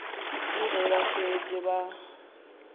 ke ge ba šetše ba